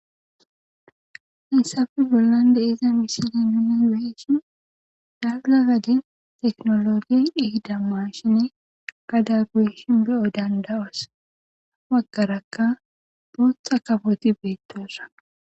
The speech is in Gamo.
Hayssafe bollan de eza mishile nini weeshin dagza gadin teknologi dhihida ma shine gada gueshin beyo dandawos waggarakka bootha kaboti beettoosa.